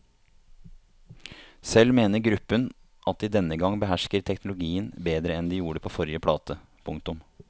Selv mener gruppen at de denne gang behersker teknologien bedre enn de gjorde på forrige plate. punktum